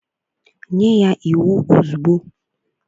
Nye ya iwu ozugbo!